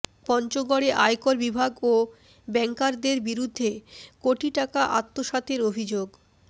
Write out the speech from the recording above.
পঞ্চগড়ে আয়কর বিভাগ ও ব্যাংকারদের বিরুদ্ধে কোটি টাকা আত্মসাতের অভিযোগ